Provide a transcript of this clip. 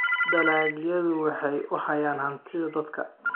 dalagyadu waxay u hayaan hantida dadka.